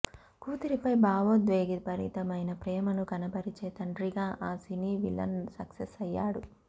కూతురిపై భావోద్వేగభరితమైన ప్రేమను కనబరిచే తండ్రిగా ఆ సినీ విలన్ సక్సెస్ అయ్యాడు